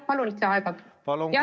Palun lisaaega!